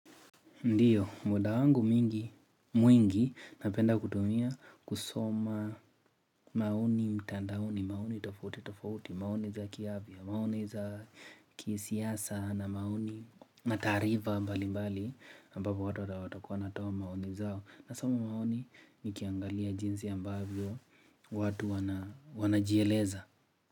Ndiyo, muda wangu mwingi napenda kutumia kusoma maoni mtandaoni, maoni tofauti tofauti, maoni za kiafya, maoni za kisiasa na maoni na taarifa mbalimbali ambapo watu watakuwa wanatoa maoni zao nasoma maoni nikiangalia jinsi ambavyo watu wanajieleza.